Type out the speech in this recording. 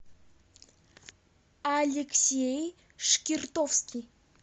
алексей шкиртовский